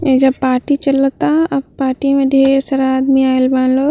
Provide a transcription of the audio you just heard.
ऐजा पार्टी चला ता आ पार्टी में ढेर सारा आदमी आइल बा लोग।